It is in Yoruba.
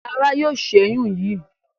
Lara yóò ṣẹyun yí.